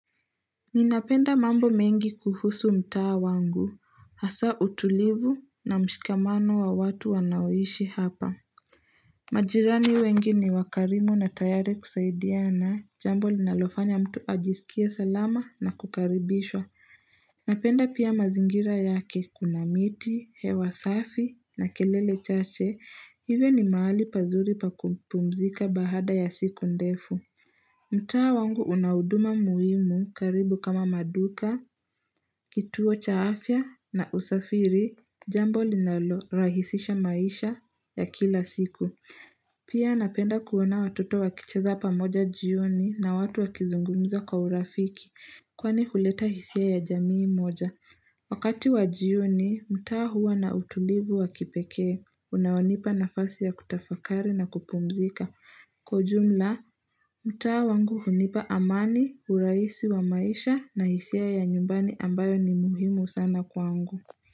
Ninapenda mambo mengi kuhusu mtaa wangu hasa utulivu na mshikamano wa watu wanaoishi hapa majirani wengi ni wakarimu na tayari kusaidiana jambo linalofanya mtu ajisikie salama na kukaribishwa Napenda pia mazingira yake kuna miti hewa safi na kelele chache hivyo ni mahali pazuri pa kupumzika baada ya siku ndefu mtaa wangu una huduma muhimu karibu kama maduka, kituo cha afya na usafiri, jambo linalo rahisisha maisha ya kila siku. Pia napenda kuona watoto wakicheza pamoja jioni na watu wakizungumza kwa urafiki, kwani huleta hisia ya jamii moja. Wakati wa jioni mtaa huwa na utulivu wa kipekee unaonipa nafasi ya kutafakri na kupumzika kwa ujumla, mtaa wangu hunipa amani, urahisi wa maisha na hisia ya nyumbani ambayo ni muhimu sana kwangu.